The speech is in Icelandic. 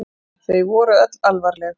Þau voru öll alvarleg.